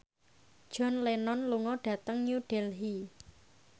John Lennon lunga dhateng New Delhi